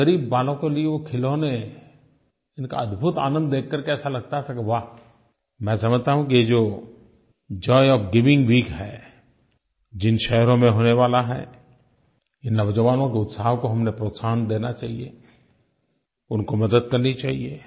उन ग़रीब बालकों के लिए वो खिलौने इनका अद्भुत आनंद देख कर के ऐसा लगता था कि वाह मैं समझता हूँ कि ये जो जॉय ओएफ गिविंग वीक है जिन शहरों में होने वाला है ये नौजवानों के उत्साह को हमने प्रोत्साहन देना चाहिये उनको मदद करनी चाहिये